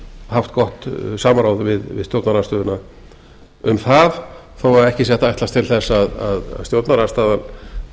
haft gott samráð við stjórnarandstöðuna um það þó að ekki sé hægt að ætlast til eins að stjórnarandstaðan